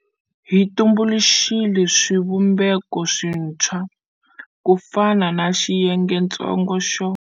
Hi tumbuluxile swivumbeko swintshwa, ku fana na Xiyengetsongo xo.